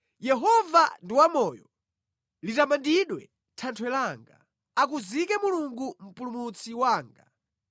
Yehova ndi wamoyo! Litamandidwe Thanthwe langa! Akuzike Mulungu Mpulumutsi wanga!